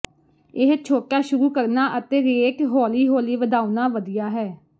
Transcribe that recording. ਇਹ ਛੋਟਾ ਸ਼ੁਰੂ ਕਰਨਾ ਅਤੇ ਰੇਟ ਹੌਲੀ ਹੌਲੀ ਵਧਾਉਣਾ ਵਧੀਆ ਹੈ